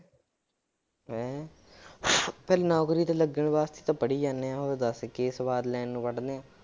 ਹੈਂ ਫਿਰ ਨੌਕਰੀ ਤੇ ਲੱਗਣ ਵਾਸਤੇ ਤਾਂ ਪੜ੍ਹੀ ਜਾਂਦੇ ਹਾਂ ਹੋਰ ਦੱਸ ਕੀ ਸਵਾਦ ਲੈਣ ਨੂੰ ਪੜ੍ਹਦੇ ਹਾਂ।